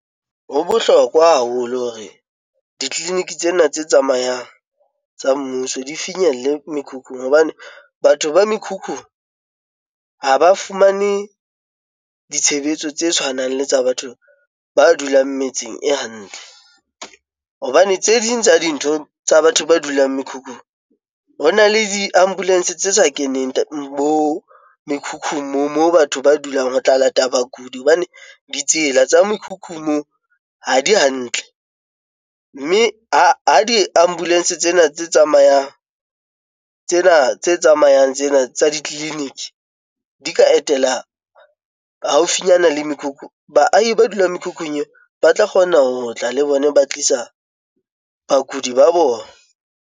Ho bohlokwa haholo hore ditleliniki tsena tse tsamayang tsa mmuso di finyelle mekhukhung, hobane batho ba mekhukhu ha ba fumane ditshebetso tse tshwanang le tsa batho ba dulang metseng e hantle hobane tse ding tsa dintho tsa batho ba dulang mekhukhu. Ho na le di-ambulance tse sa keneng mo mekhukhung moo mo batho ba dulang ho tla lata bakudi hobane ditsela tsa mekhukhung moo ha di hantle mme a di-ambulance. Tsena tse tsamayang tsena tse tsamayang tsena tsa ditleliniki di ka etela haufinyana le mekhukhu. Baahi ba dulang mekhukhung eo ba tla kgona ho tla le bona, ba tlisa bakudi ba bona.